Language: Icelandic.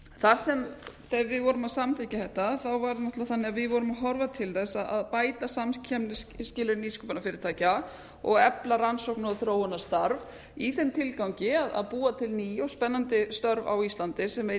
þar sem við vorum að samþykkja þetta var náttúrlega þannnig að við vorum að horfa til þess að bæta skilyrði nýsköpunarfyrirtækja efla arnnaókna og þróunarstarf í þeim tilgangi að búa til ný og spennandi störf á íslandi sem veitir